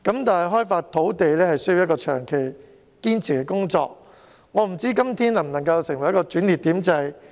但開發土地是需要長期堅持的工作，我不知道今天能否成為一個轉捩點。